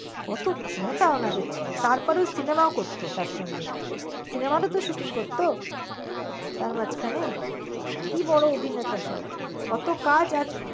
কত ক্ষমতা উনাদের ছিল। তার পরে cinema ও করত তার সঙ্গে। cinema তে shooting করত তার মাঝখানে কি বড় অভিনেতা সব কত কাজ আর~